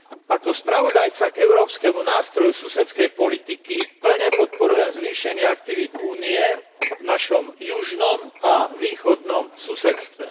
Ako spravodajca k európskemu nástroju susedskej politiky plne podporujem zvýšenie aktivít Únie v našom južnom a východnom susedstve.